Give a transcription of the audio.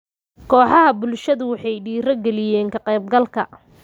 Kooxaha bulshadu waxay dhiiri galiyeen ka qaybgalka.